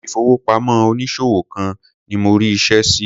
Ilé ìfowópamọ́ onísòwò kan ni mo rí iṣẹ́ sí.